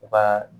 U ka